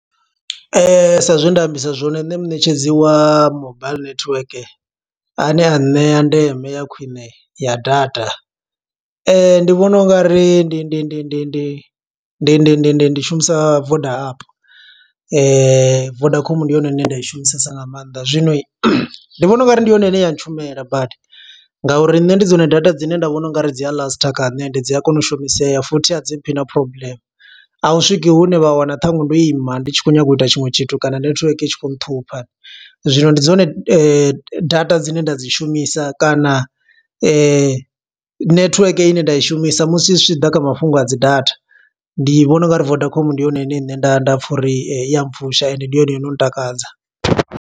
Sa zwe nda ambisa zwone, nṋe muṋetshedzi wa mobile network a ne a ṋea ndeme ya khwiṋe ya data. Ndi vhona ungari ndi ndi ndi ndi ndi ndi ndi ndi ndi ndi shumisa Voda app. Vodacom ndi yone ine nda i shumisesa nga maanḓa, zwino ndi vhona ungari ndi yone ine ya ntshumela badi. Nga uri nṋe ndi dzone data dzine nda vhona ungari dzi a laster kha nṋe, ende dzi a kona u shumiseya futhi a dzi mphi na problem. A hu swiki hune vha wana ṱhaṅwe ndo ima, ndi tshi khou nyanga u ita tshiṅwe tshithu kana, netiweke i tshi khou nṱhupha. Zwino ndi dzone data dzine nda dzi shumisa kana, netiweke ine nda i shumisa. Musi zwi tshi ḓa kha mafhungo a dzi data, ndi vhona ungari Vodacom ndi yone ine nṋe nda nda pfa uri i ya mpfusha, ende ndi yone ino ntakadza.